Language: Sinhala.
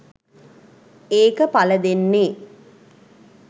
ඒක පලදෙන්නේ